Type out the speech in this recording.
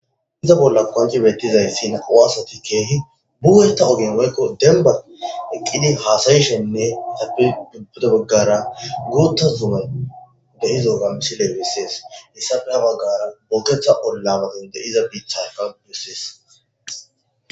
Iza bolla koanci bettizayssin awasati keehi buwenta hoginmoykko demba eqqidin haasayishonnne adubuda baggara guutta zumay dehizo gamisi leewissees hissa ena baggara booketha ollamatin deiza biithayfa busses.